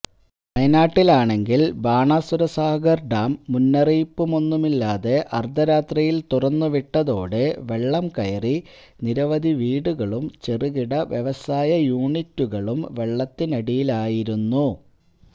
വയനാട്ടിലാണെങ്കില് Banasurasagar dam മുന്നറിയിപ്പൊന്നുമില്ലാതെ അര്ധരാത്രിയില് തുറന്നുവിട്ടതോടെ വെള്ളം കയറി നിരവധി വീടുകളും ചെറുകിട വ്യവസായ യൂണിറ്റുകളും വെള്ളത്തിനടിയിലായിരുന്നു